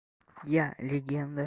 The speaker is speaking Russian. я легенда